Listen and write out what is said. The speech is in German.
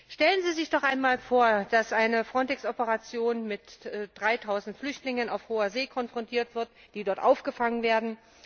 Stellen Sie sich doch einmal vor, dass eine FRONTEX Operation mit 3000Flüchtlingen auf Hoher See konfrontiert wird, die dort aufgefangen werden.